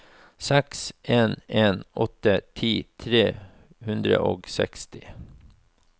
seks en en åtte ti tre hundre og seksti